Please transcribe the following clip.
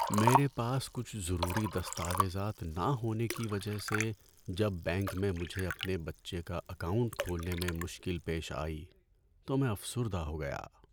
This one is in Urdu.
میرے پاس کچھ ضروری دستاویزات نہ ہونے کی وجہ سے جب بینک میں مجھے اپنے بچے کا اکاؤنٹ کھولنے میں مشکل پیش آئی تو میں افسردہ ہو گیا۔